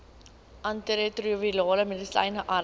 antiretrovirale medisyne arms